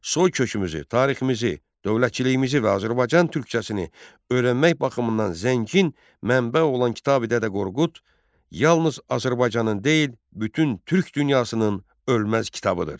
Soykökümüzü, tariximizi, dövlətçiliyimizi və Azərbaycan türkcəsini öyrənmək baxımından zəngin mənbə olan Kitabi Dədə Qorqud yalnız Azərbaycanın deyil, bütün türk dünyasının ölməz kitabıdır.